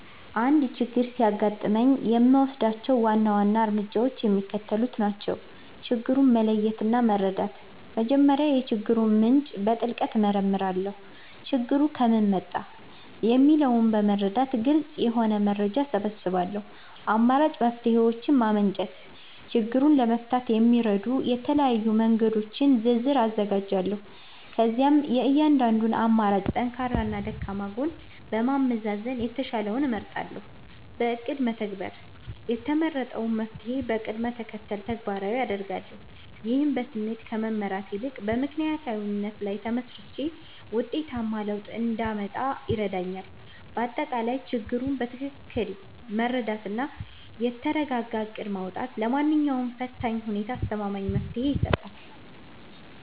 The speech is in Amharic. አንድ ችግር ሲያጋጥመኝ የምወስዳቸው ዋና ዋና እርምጃዎች የሚከተሉት ናቸው፦ ችግሩን መለየትና መረዳት፦ መጀመሪያ የችግሩን ምንጭ በጥልቀት እመረምራለሁ። ችግሩ ከምን መጣ? የሚለውን በመረዳት ግልጽ የሆነ መረጃ እሰበስባለሁ። አማራጭ መፍትሔዎችን ማመንጨት፦ ችግሩን ለመፍታት የሚረዱ የተለያዩ መንገዶችን ዝርዝር አዘጋጃለሁ። ከዚያም የእያንዳንዱን አማራጭ ጠንካራና ደካማ ጎን በማመዛዘን የተሻለውን እመርጣለሁ። በእቅድ መተግበር፦ የተመረጠውን መፍትሔ በቅደም ተከተል ተግባራዊ አደርጋለሁ። ይህም በስሜት ከመመራት ይልቅ በምክንያታዊነት ላይ ተመስርቼ ውጤታማ ለውጥ እንዳመጣ ይረዳኛል። ባጠቃላይ፣ ችግሩን በትክክል መረዳትና የተረጋጋ እቅድ ማውጣት ለማንኛውም ፈታኝ ሁኔታ አስተማማኝ መፍትሔ ይሰጣል።